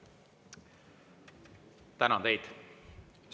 Tänan teid!